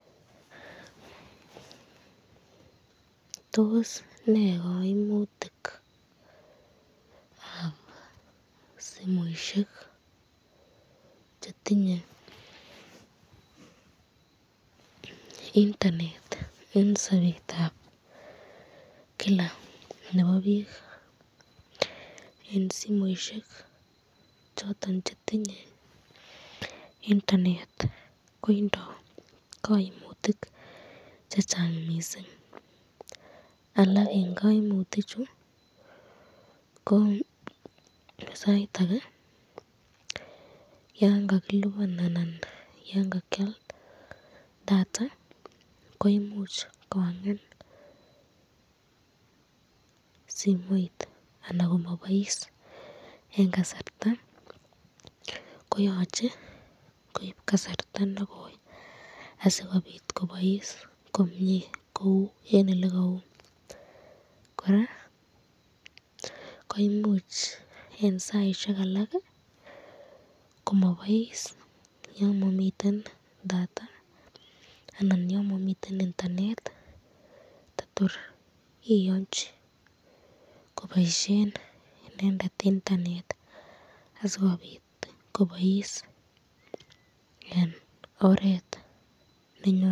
Tos be kaimutikab simoisyek chetinye internet eng sabetab Kila nebo bik, simoisyek choton chetinye internet koindo kaimutik chechang mising alak eng kaimutik chu ko sait ake ko yan kakyal data koimuch kohangen simoit anan komabois eng kasarta koyache koib kasarta nekoi asikobit kobais komye ,eng elekau ,koraa koimuch eng saisyek alak komabois yon mamiten internet.